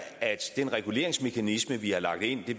at den reguleringsmekanisme vi har lagt ind